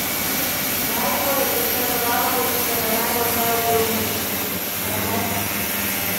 Ali lahko ta lokalpatriotski ponos prenesemo tudi na gospodarsko področje?